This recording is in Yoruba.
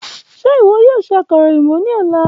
Ṣe iwọ yoo ṣe akara oyinbo ni ọla?